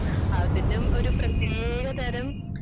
അതിനും ഒരു പ്രത്യേക തരം